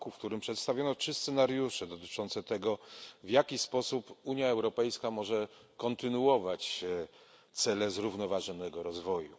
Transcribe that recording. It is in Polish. r., w którym przedstawiono trzy scenariusze dotyczące tego, w jaki sposób Unia Europejska może kontynuować realizację celów zrównoważonego rozwoju.